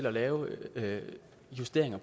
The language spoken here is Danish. at lave justeringer